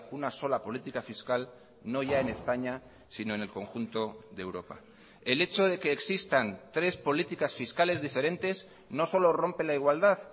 una sola política fiscal no ya en españa sino en el conjunto de europa el hecho de que existan tres políticas fiscales diferentes no solo rompe la igualdad